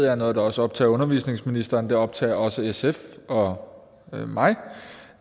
er noget der også optager undervisningsministeren og det optager også sf og mig